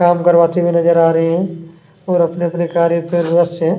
काम करवाते हुए नजर आ रहे है और अपने -अपने कार्य पे व्यस्त हैं।